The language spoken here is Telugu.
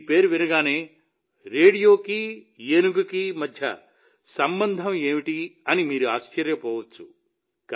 ఈ పేరు వినగానే రేడియోకి ఏనుగుకి మధ్య సంబంధం ఏంటని మీరు ఆశ్చర్యపోవచ్చు